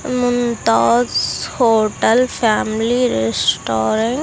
Mumtaz hotel family restaurant .